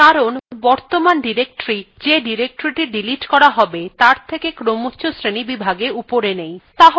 দেখুন এটি করা যাচ্ছে না কারণ বর্তমান directory যে directorythe ডিলিট করা হবে তার থকে ক্রমচ্ছ শ্রেণীবিভাগে উপরে নেই